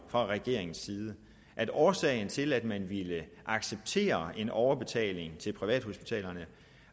fra regeringens side at årsagen til at man ville acceptere en overbetaling til privathospitalerne